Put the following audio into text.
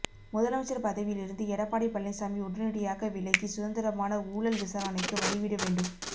முதலமைச்சர் பதவியிலிருந்து எடப்பாடி பழனிசாமி உடனடியாக விலகி சுதந்திரமான ஊழல் விசாரணைக்கு வழி விட வேண்டும்